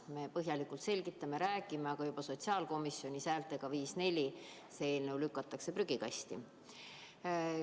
Me põhjalikult selgitame ja räägime, aga – nagu juba sotsiaalkomisjonis häältega 5 : 4 – see eelnõu lükatakse prügikasti.